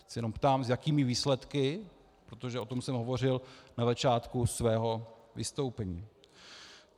Já se jenom ptám, s jakými výsledky, protože o tom jsem hovořil na začátku svého vystoupení.